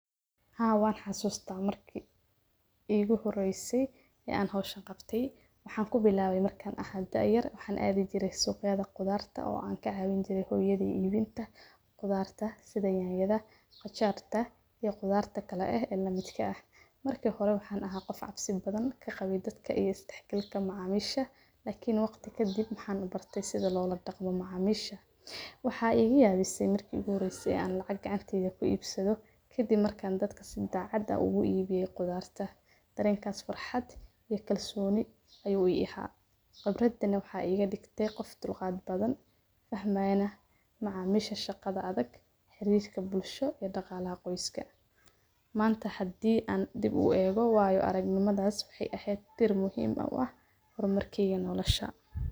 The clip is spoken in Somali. Haa wan xasuusta marki igu huraysay ee aan hoosha qabtay. Waxaan ku bilaabay markaan ahaa dayar, waxaan aad u diray suuqyada qudaarta oo aan ka caawin jiray hoyiyeeda iibinta qudaarta, sida yaayaadha qojarta iyo qudaarta kala ah ee la midka ah. Markii hore waxaan ahaa qof cabsi badan ka qabid dadka iyo dhexgalka macaamiisha. Laakiin waqti ka dib waxaan u bartay sida loola dhaqmo macaamiisha. Waxaa iyaga yaabi say markii igu horeysay aan lacag gacanteyda ku iibsado. Kaddib markaan dadka si daacada ugu iibiya qudaarta dareenkaas furxad iyo kalsooni ay u yahay. Qabraddan waxaa iga digtay qof tulqaad badan fahmayna macaamiisha shaqada adag, xiriirka bulsho iyo dhaqaalaha qoyska. Maanta haddii aan dib u eego waayo aragnimadaas waxay ahayd tir muhiima ah horumarkii aa noloolashaa.